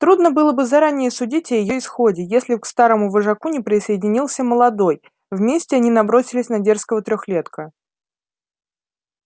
трудно было бы заранее судить о её исходе если б к старому вожаку не присоединился молодой вместе они набросились на дерзкого трёхлетка